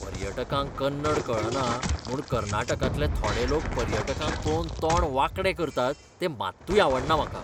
पर्यटकांक कन्नड कळना म्हूण कर्नाटकांतले थोडे लोक पर्यटकांक पळोवन तोंड वांकडे करतात तें मात्तूय आवडना म्हाका.